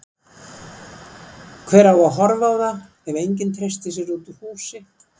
Hver á að horfa á það ef enginn treystir sér út úr húsi?